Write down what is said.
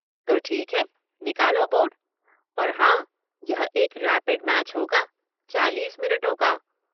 ‘तो ठीक है, निकालो बोर्ड – और हां, यह एक रैपिड मैच होगा चालीस मिनटों का।